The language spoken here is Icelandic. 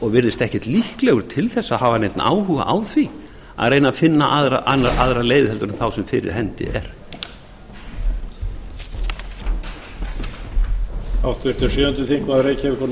og virðist ekkert líklegur til þess að hafa neinn áhuga á því að reyna að finna aðra leið heldur en þá sem fyrir hendi er